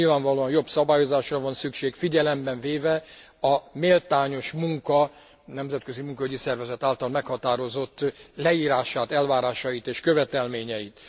Nyilvánvalóan jobb szabályozásra van szükség, figyelembe véve a méltányos munkának a Nemzetközi Munkaügyi Szervezet által meghatározott leírását, elvárásait és követelményeit.